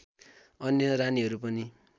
अन्य रानीहरू पनि